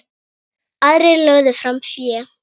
Aðrir lögðu fram fé.